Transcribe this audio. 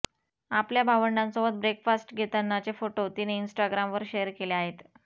आपल्या भावंडांसोबत ब्रेकफास्ट घेतानाचे फोटो तिने इन्स्टाग्रामवर शेअर केले आहेत